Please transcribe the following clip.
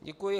Děkuji.